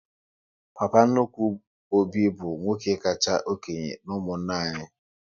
Papa nnukwu Obi bụ nwoke kacha okénye n'umunna anyị